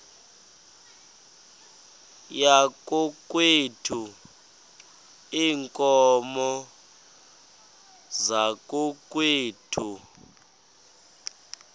yakokwethu iinkomo zakokwethu